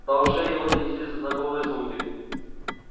до ушей его донеслись знакомые звуки